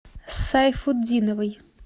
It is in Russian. сайфутдиновой